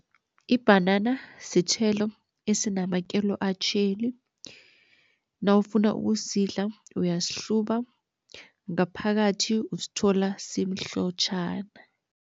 Ibhanana sithelo esinamakelo atjheli, nawufuna ukusidla uyasihluba ngaphakathi usithola simhlotjhana.